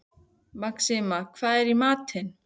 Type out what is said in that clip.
Maxima, hvað er í matinn?